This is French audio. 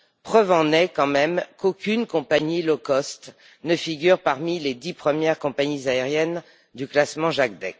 Preuve en est qu'aucune compagnie low cost ne figure parmi les dix premières compagnies aériennes du classement Jacdec.